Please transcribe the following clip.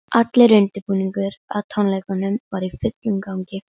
Eftir það voru honum boðin náðarmeðulin sem hann þáði.